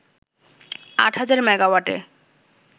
আট হাজার মেগাওয়াটে